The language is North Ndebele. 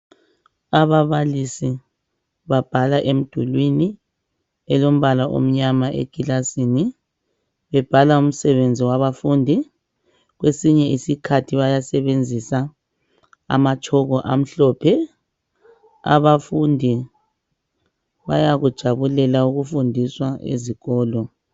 Ababalisi babhala emdulwini elombala omnyama ekilasini babhala umsebenzi wabafundi. Kwesinye isikhathi bayasebenzisa amatshoko amhlophe. Abafundi bayakujabulela ukufundiswa ezikolo.